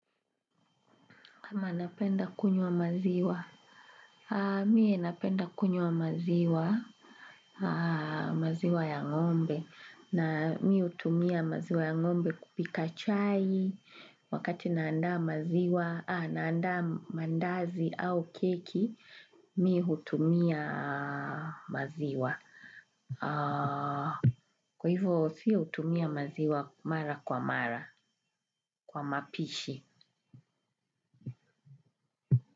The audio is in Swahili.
Ama napenda kunywa maziwa. Miye napenda kunywa maziwa, maziwa ya ngombe. Na mimi hutumia maziwa ya ngombe kupika chai. Wakati naandaa maziwa, naandaa mandazi au keki, mimi hutumia maziwa. Kwa hivyo, sio hutumia maziwa mara kwa mara, kwa mapishi.